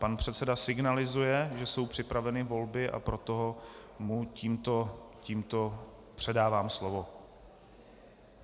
Pan předseda signalizuje, že jsou připraveny volby, a proto mu tímto předávám slovo.